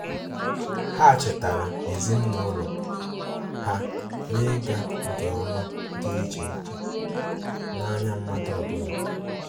Ha chetara ezimụlọ ha na-ịga nke ọma dị iche iche um n'anya mmadụ ọbụla.